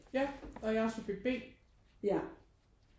Ja og jeg er subjekt B